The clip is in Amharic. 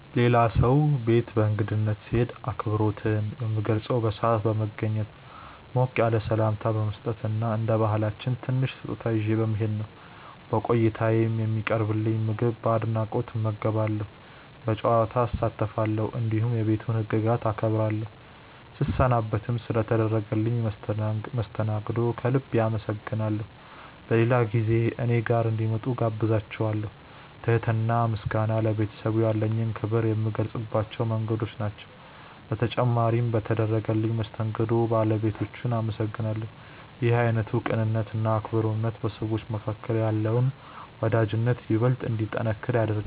የሌላ ሰው ቤት በእንግድነት ስሄድ አክብሮቴን የምገልጸው በሰዓት በመገኘት፣ ሞቅ ያለ ሰላምታ በመስጠት እና እንደ ባህላችን ትንሽ ስጦታ ይዤ በመሄድ ነው። በቆይታዬም የሚቀርብልኝን ምግብ በአድናቆት እመገባለሁ፣ በጨዋታ እሳተፋለሁ፣ እንዲሁም የቤቱን ህግጋት አከብራለሁ። ስሰናበትም ስለ ተደረገልኝ መስተንግዶ ከልብ አመስግኜ በሌላ ጊዜ እኔ ጋር እንዲመጡ እጋብዛቸዋለው። ትህትና እና ምስጋና ለቤተሰቡ ያለኝን ክብር የምገልጽባቸው መንገዶች ናቸው። በተጨማሪም በተደረገልኝ መስተንግዶ ባለቤቶቹን አመሰግናለሁ። ይህ አይነቱ ቅንነት እና አክብሮት በሰዎች መካከል ያለውን ወዳጅነት ይበልጥ እንዲጠነክር ያደርጋል።